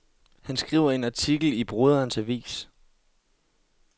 Han skriver en artikel i broderens avis.